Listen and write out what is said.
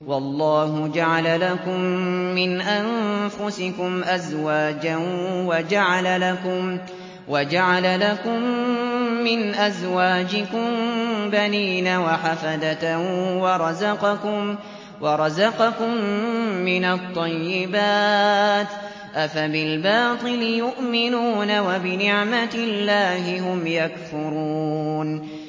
وَاللَّهُ جَعَلَ لَكُم مِّنْ أَنفُسِكُمْ أَزْوَاجًا وَجَعَلَ لَكُم مِّنْ أَزْوَاجِكُم بَنِينَ وَحَفَدَةً وَرَزَقَكُم مِّنَ الطَّيِّبَاتِ ۚ أَفَبِالْبَاطِلِ يُؤْمِنُونَ وَبِنِعْمَتِ اللَّهِ هُمْ يَكْفُرُونَ